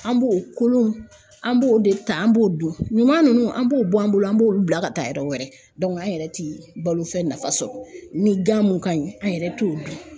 An b'o kolon, an b'o de ta an b'o dun, ɲuman nunnu an b'o bɔ an bolo an b'olu bila ka taa yɔrɔ wɛrɛ an yɛrɛ ti balo fɛn nafa sɔrɔ, ni gan mun ka ɲi an yɛrɛ t'o dun.